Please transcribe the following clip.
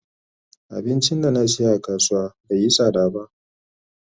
Abincin da na siya a kasuwa bai yi sada ba.